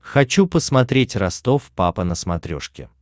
хочу посмотреть ростов папа на смотрешке